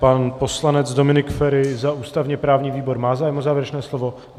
Pan poslanec Dominik Feri za ústavně-právní výbor má zájem o závěrečné slovo?